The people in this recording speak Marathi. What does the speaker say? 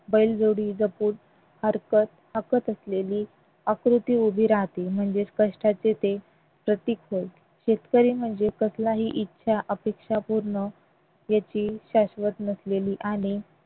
बैलजोडी जपून हाकत असलेली आकृती उभी राहते म्हणजेच कष्टाचे ते प्रतीक होय शेतकरी म्हणजे कसल्याही इच्छा अपेक्षा पूर्ण याची शाश्वत नसलेली आणि